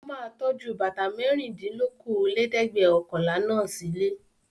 Ó máa tọ́jú bàtà mẹ́rìndínlókòólẹ́ẹ̀dẹ́gbẹ̀ọ̀kànlá náà sílé.